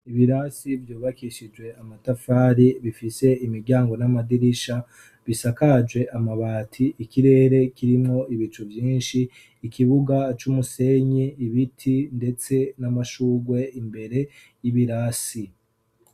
Ibirasi vyubakishijwe amatafari, bifise imiryango n'amadirisha, bisakajwe amabati. Ikirere kirimwo ibicu vyinshi, ikibuga c'umusenyi, ibiti ndetse n'amashurwe imbere y'ibirasi.